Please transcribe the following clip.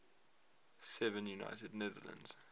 seven united netherlands